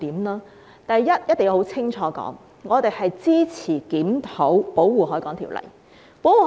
首先，我們一定要清楚說明，我們支持檢討《保護海港條例》。